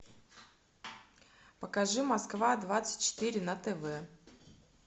покажи москва двадцать четыре на тв